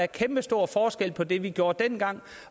kæmpestor forskel på det vi gjorde dengang